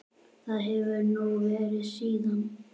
Það hefur hún verið síðan.